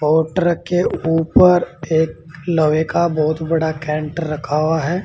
और ट्रक के ऊपर एक लोहे का बहोतबड़ा कैंटर रखा हुआ है।